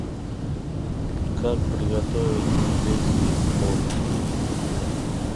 как приготовить узбекский плов